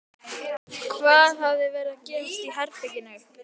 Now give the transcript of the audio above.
Hvað hafði verið að gerast í herberginu?